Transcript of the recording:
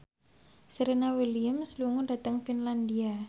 Serena Williams lunga dhateng Finlandia